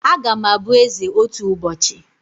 Agam abụ eze otu ụbọchị